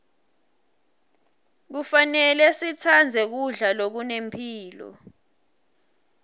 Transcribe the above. kufanele sitsandze kudla lokunemphilo